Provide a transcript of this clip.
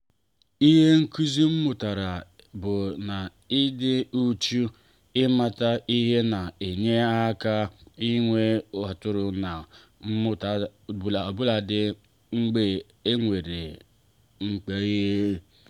ihe nkụzi m mụtara bụ na ịdị uchu ịmata ihe na-enye aka inwe aṅụrị na mmụta obuladi mgbe e nwere njehie.